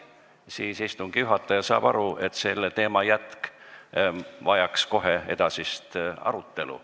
Siis saab istungi juhataja aru, et see on selle teema jätk ja vajab kohe edasist arutelu.